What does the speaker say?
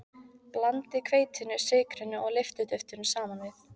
Blandið hveitinu, sykrinum og lyftiduftinu saman við.